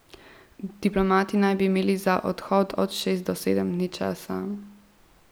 Diplomati naj bi imeli za odhod od šest do sedem dni časa.